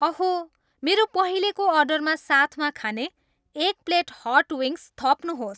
अहो मेरो पहिलेको अर्डरमा साथमा खाने एक प्लेट हट विङ्ग्स थप्नुहोस्